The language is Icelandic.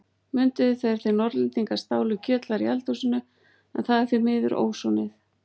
Mundu þegar þið Norðlendingar stáluð kjötlæri í eldhúsinu, en það var því miður ósoðið.